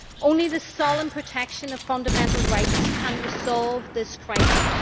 Only the solemn protection of fundamental rights can resolve this crisis.